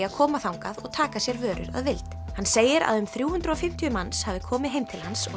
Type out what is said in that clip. að koma þangað og taka sér vörur að vild hann segir að um þrjú hundruð og fimmtíu manns hafi komið heim til hans og